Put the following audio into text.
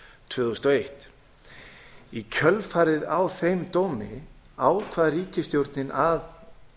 tvö þúsund og eitt í kjölfarið á þeim dómi ákvað ríkisstjórnin að